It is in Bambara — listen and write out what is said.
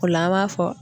O la an b'a fɔ